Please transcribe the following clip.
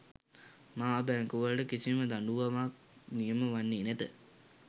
මහා බැංකුවලට කිසිම දඬුවමක් නියම වන්නේ නැත